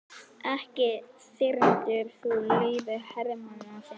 Ekki þyrmdir þú lífi hermanna þinna?